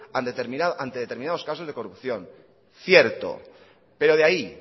ante determinados casos de corrupción cierto pero de ahí